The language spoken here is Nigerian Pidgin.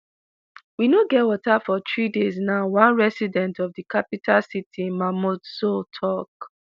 "we no get water for three days now" one resident of di capital city mamoudzou tok.